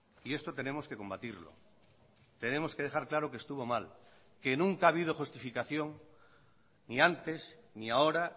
y esto tenemos que combatirlo tenemos que dejar claro que estuvo mal que nunca ha habido justificación ni antes ni ahora